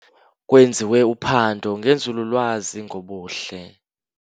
Kwenziwe uphando ngenzululwazi ngobuhle.